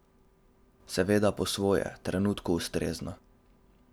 Seveda po svoje, trenutku ustrezno.